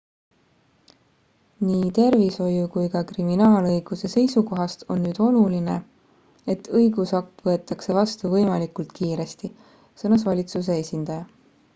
"""nii tervishoiu kui ka kriminaalõiguse seisukohast on nüüd oluline et õigusakt võetakse vastu võimalikult kiiresti," sõnas valitsuse esindaja.